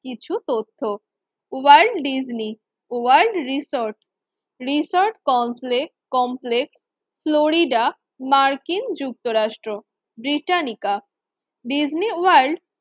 কিছু তথ্য। World Disney World research research comple complex Florida মার্কিন যুক্তরাষ্ট্র ব্রিটানিকা ডিজনি ওয়ার্ল্ড